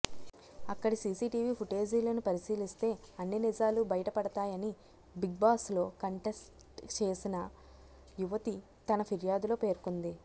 అక్కడి సీసీటీవీ ఫుటేజీలను పరిశీలిస్తే అన్ని నిజాలు బయట పడతాయని బిగ్బాస్లో కంటెస్ట్ చేసిన యువతి తన ఫిర్యాదులో పేర్కొంది